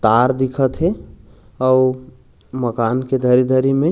तार दिखत हे अउ मकान के धरी-धरी में--